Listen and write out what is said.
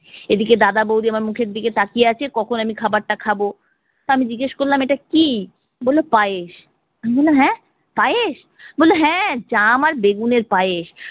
এদিকে দাদা বৌদি আমার মুখের দিকে তাকিয়ে আছে কখন আমি খাবারটা খাবো। তা আমি জিজ্ঞেস করলাম এটা কি? বললো পায়েস। আমি বললাম হ্যাঁ পায়েস? জাম আর বেগুনের পায়েস।